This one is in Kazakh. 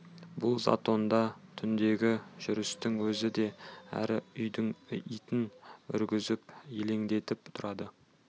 бұл затонда түндегі жүрістің өзі де әр үйдің итін үргізіп елеңдетіп тұрады